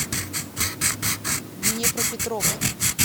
днепропетровск